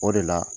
O de la